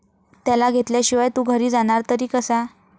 त्याला घेतल्याशिवाय तू घरी जाणार तरी कसा?